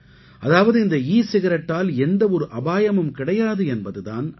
அதாவது இந்த ஈ சிகரெட்டால் எந்த ஒரு அபாயமும் கிடையாது என்பது தான் அது